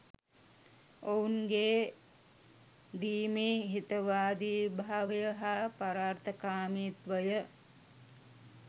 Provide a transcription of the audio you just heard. ඔවුන් ගේ දීමේ හිතවාදිභාවය හා පරාර්ථකාමිත්වය